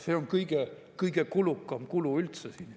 See on kõige kulukam kulu.